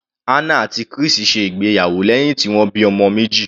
Hannah àti Chris ṣe ìgbéyàwó lẹ́hìn tí wọ́n bímọ meji.